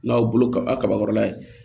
N'aw bolo kabakɔrɔla ye